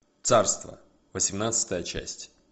царство восемнадцатая часть